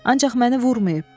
Ancaq məni vurmayıb.